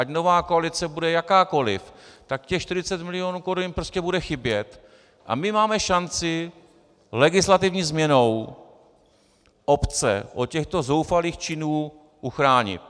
Ať nová koalice bude jakákoliv, tak těch 40 milionů korun jim prostě bude chybět a my máme šanci legislativní změnou obce od těchto zoufalých činů uchránit.